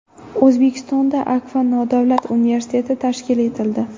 O‘zbekistonda Akfa nodavlat universiteti tashkil etildi.